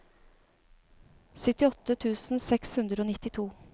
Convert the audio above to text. syttiåtte tusen seks hundre og nittito